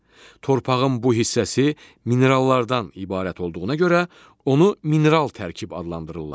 Torpağın bu hissəsi minerallardan ibarət olduğuna görə onu mineral tərkib adlandırırlar.